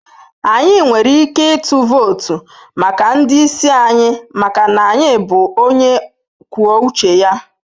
Anyị nwere ike ịtụ vootu maka ndị isi anyị maka na anyị bụ onye kwuo uche ya.